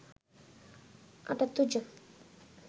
৭৮ জন